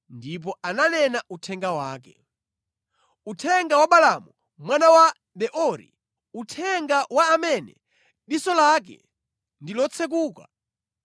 ndipo ananena uthenga wake: “Uthenga wa Balaamu mwana wa Beori, uthenga wa amene diso lake ndi lotsekuka,